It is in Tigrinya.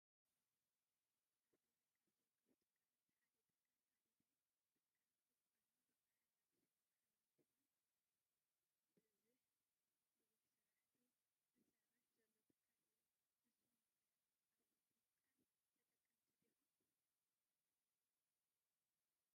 አብ ትግራይ ካብ ዝርከቡ ትካላት ሓደ ትካል አደዳይ ትካል ዕቋርን ልቃሕን አክሱዩን ማሕበር እንትኮን ብዝሕ ስራሕቲ ዝስርሕ ዘሎ ትካል እዩ። ንስኩም ከ አብዚ ትካል ተጠቀምቲ ዲኩም?